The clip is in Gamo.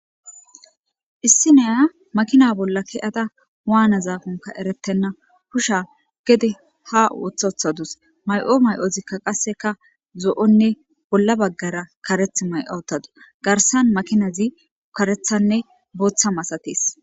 Issi neya makina bolla ke'ada waana zaafonka erettenna husha gede ha wothothadus may'o may'ozikka qasseka zo'onne bolla baggara kareth may'awutadu garsan makinazi karethanne booththa masatees